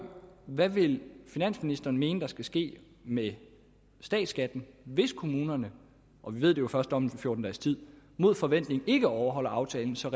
hvad vil finansministeren mene at der skal ske med statsskatten hvis kommunerne og vi ved det jo først om fjorten dages tid mod forventning ikke overholder aftalen så